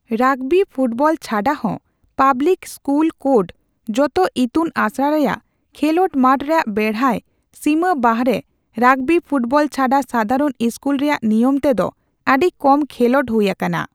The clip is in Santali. ᱨᱟᱜᱽᱵᱤ ᱯᱷᱩᱴᱵᱚᱞ ᱪᱷᱟᱰᱟ ᱦᱚᱸ ᱯᱟᱵᱞᱤᱠ ᱤᱥᱠᱩᱞ ᱠᱳᱰ ᱡᱚᱛᱚ ᱤᱛᱩᱱ ᱟᱥᱲᱟ ᱨᱮᱭᱟᱜ ᱠᱷᱮᱞᱚᱸᱰ ᱢᱟᱴᱷ ᱨᱮᱭᱟᱜ ᱵᱮᱲᱦᱟᱭ ᱥᱤᱢᱟᱹ ᱵᱟᱦᱨᱮ ᱨᱟᱜᱽᱵᱤ ᱯᱷᱩᱴᱵᱚᱞ ᱪᱷᱟᱰᱟ ᱥᱟᱫᱷᱟᱨᱚᱱ ᱤᱥᱠᱩᱞ ᱨᱮᱭᱟᱜ ᱱᱤᱭᱚᱢᱛᱮ ᱫᱚ ᱟᱹᱰᱤ ᱠᱚᱢ ᱠᱷᱮᱞᱚᱸᱰ ᱦᱩᱭ ᱟᱠᱟᱱᱟ ᱾